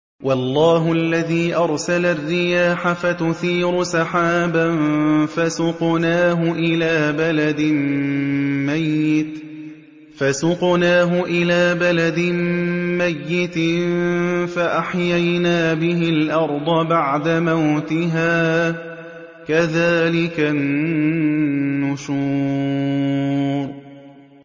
وَاللَّهُ الَّذِي أَرْسَلَ الرِّيَاحَ فَتُثِيرُ سَحَابًا فَسُقْنَاهُ إِلَىٰ بَلَدٍ مَّيِّتٍ فَأَحْيَيْنَا بِهِ الْأَرْضَ بَعْدَ مَوْتِهَا ۚ كَذَٰلِكَ النُّشُورُ